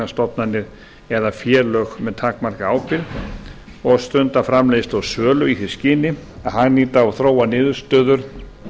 sjálfseignastofnanir eða félög með takmarkaðri ábyrgð og stunda framleiðslu og sölu í því skyni að hagnýta og þróa niðurstöður